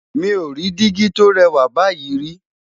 mí ọ rí digi tó rè wà báyìí ri